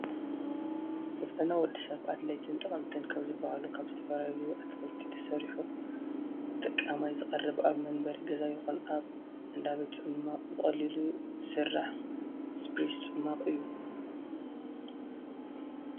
ንጥዕና ወድሰብ ኣድለይትን ጠቐምትን ካብ ዝበሃሉ ካብ ዝተፈላለዩ ኣትክልቲ ተሰሪሑ ንተጠቃማይ ዝቐረበ ኣብ መንበሪ ገዛ ይኹን ኣብ እንዳ ቤት ፅሟቅ ብቐሊሉ ዝስራሕ ስፕሪስ ፅሟቕ እዩ።